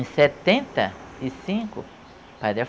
Em setenta e cinco, o pai de